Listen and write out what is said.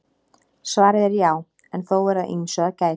Svarið er já en þó er að ýmsu að gæta.